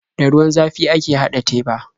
Da ruwan zafi ake haɗa teba.